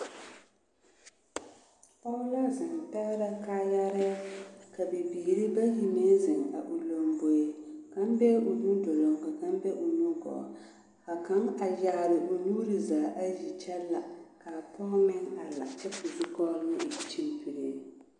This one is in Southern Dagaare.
Pɔge la zeŋ pɛgrɛ kaayaare ka bibiiri bayi meŋ zeŋ a o lomboe kaŋ be la o nu doloŋ ka kaŋ be o nu gɔɔ ka kaŋ a yaare o nuure zaa ayi kyɛ la ka a pɔge meŋ a la kyɛ ka o zukɔɔloŋ e kyimpiriŋ.